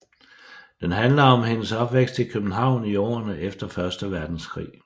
Den handler om hendes opvækst i København i årene efter Første Verdenskrig